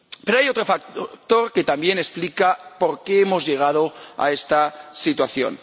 Hay otro factor que también explica por qué hemos llegado a esta situación.